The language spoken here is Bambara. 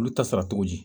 Olu ta sara cogo di